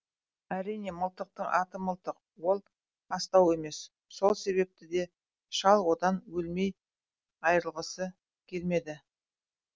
әрине мылтықтың аты мылтық ол астау емес сол себепті де шал одан өлмей айрылғысы келмеді